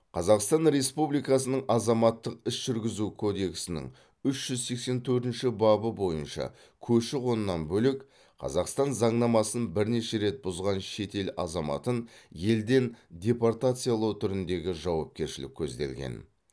қазақстан республикасының азаматтық іс жүргізу кодексінің үш жүз сексен төртінші бабы бойынша көші қоннан бөлек қазақстан заңнамасын бірнеше рет бұзған шетел азаматын елден депортациялау түріндегі жауапкершілік көзделген